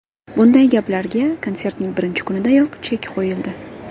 Bunday gaplarga konsertning birinchi kunidayoq chek qo‘yildi.